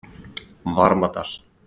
Varmadal